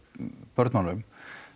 börnunum